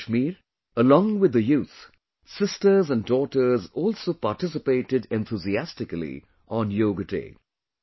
In Kashmir, along with the youth, sisters and daughters also participated enthusiastically on Yoga Day